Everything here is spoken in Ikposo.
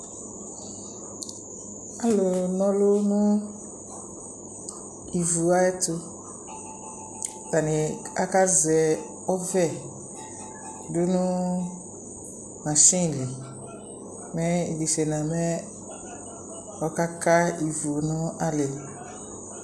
Ɔlu na ɔlu nu ivu ayɛtu atani akazɛ ɔvɛ du nu masini li mɛ idisena mɛ ɔkaka ivu nu alili